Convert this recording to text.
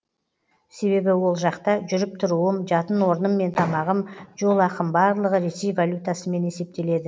себебі ол жақта жүріп тұруым жатын орным мен тамағым жол ақым барлығы ресей валютасымен есептеледі